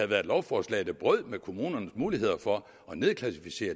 været et lovforslag der brød med kommunernes mulighed for at nedklassificere